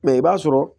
Mɛ i b'a sɔrɔ